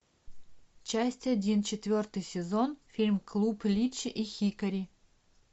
часть один четвертый сезон фильм клуб личи и хикари